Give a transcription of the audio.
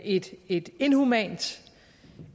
et et inhumant